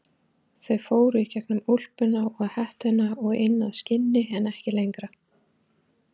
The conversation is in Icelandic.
Þau fóru í gegnum úlpuna og hettuna og inn að skinni en ekki lengra.